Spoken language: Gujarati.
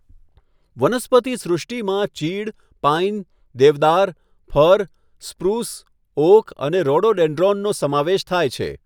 વનસ્પતિ સૃષ્ટિમાં ચીડ, પાઇન, દેવદાર, ફર, સ્પ્રૂસ, ઓક અને રોડોડેન્ડ્રોનનો સમાવેશ થાય છે.